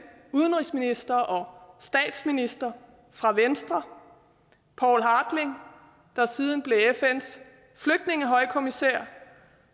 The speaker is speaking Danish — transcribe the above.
udenrigsminister og statsminister fra venstre der siden blev fns flygtningehøjkommissær